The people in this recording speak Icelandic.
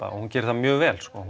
hún gerir það mjög vel